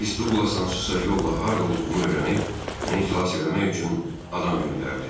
Miss Duqlas hansısa yolla harda olduğumu öyrənib, məni xilas eləmək üçün adam göndərdi.